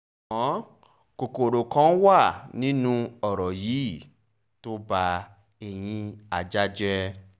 ṣùgbọ́n kòkòrò kan wà nínú ọ̀rọ̀ yìí tó ba ẹ̀yin ajá jẹ́